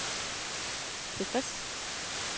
tilfreds